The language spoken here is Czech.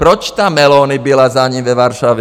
Proč tam Meloni byla za ním ve Varšavě?